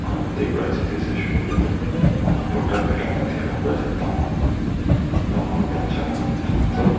un thik right side tae saishey koilae tu manu borta birala dikhiwo pariase dangor dangor bacha edu khan sop.